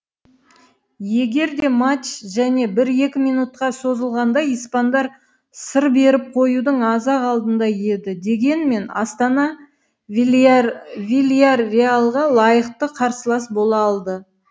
егерде матч және бір екі минутқа созылғанда испандар сыр беріп қоюдың аз ақ алдында еді дегенмен астана вильярреалға лайықты қарсылас бола алды